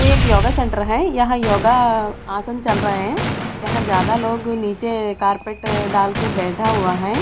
यह एक yoga centre है यहाँ योगा आसन चल रहा है यहाँ ज्यादा लोग नीचे कारपेट डालकर के बैठा हुआ है।